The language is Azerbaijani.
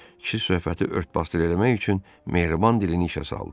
Kişi söhbəti ört-basdır eləmək üçün mehriban dilini işə saldı.